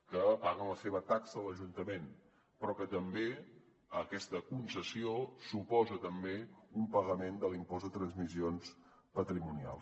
que paguen la seva taxa a l’ajuntament però que també aquesta concessió suposa un pagament de l’impost de transmissions patrimonials